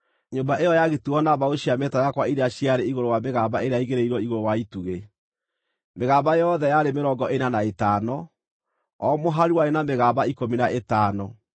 Nyũmba ĩyo yagitirwo na mbaũ cia mĩtarakwa iria ciarĩ igũrũ wa mĩgamba ĩrĩa yaigĩrĩirwo igũrũ wa itugĩ, mĩgamba yothe yarĩ mĩrongo ĩna na ĩtano, o mũhari warĩ na mĩgamba ikũmi na ĩtano.